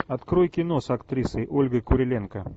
открой кино с актрисой ольгой куриленко